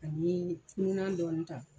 Ani fununan dɔɔni ta.